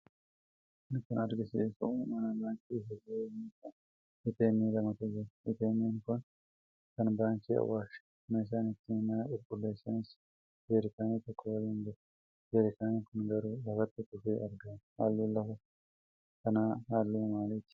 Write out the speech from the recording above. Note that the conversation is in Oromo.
Kun kan agarsiisu mana baankii fuldura yommuu ta'u, ATM lamatu jiru. Eeteemmiin Kun kan baankii Awaashi. Meeshaan ittiin mana qulqulleessanis jeerikaana tokko waliin jira. Jeerikaan kun garuu lafatti kufee argama. Halluun lafa kanaa halluu maaliiti?